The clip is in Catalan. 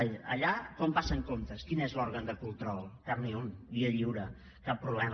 ai allà com passen comptes quin és l’òrgan de control cap ni un via lliure cap problema